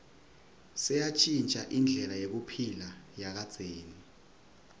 seyantjintja indlela yekuphila yakadzeni